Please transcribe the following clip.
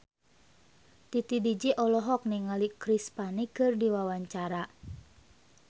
Titi DJ olohok ningali Chris Pane keur diwawancara